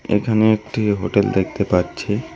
এখানে একটি হোটেল দেখতে পাচ্ছি।